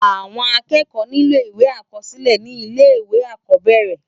Awòn ákèékò nilò iwé ákòsilè ni ilé iwé ákòbèrè